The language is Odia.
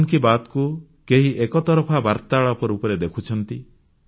ମନ୍ କି ବାତ୍କୁ କେହି ଏକତରଫା ବାର୍ତ୍ତାଳାପ ରୂପରେ ଦେଖୁଛନ୍ତି